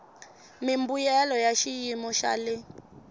mimbuyelo ya xiyimo xa le